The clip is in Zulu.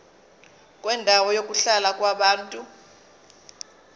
kwendawo yokuhlala yabantu